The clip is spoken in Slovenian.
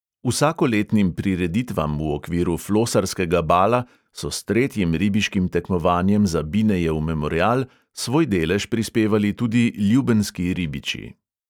Vsakoletnim prireditvam v okviru flosarskega bala so s tretjim ribiškim tekmovanjem za binejev memorial svoj delež prispevali tudi ljubenski ribiči.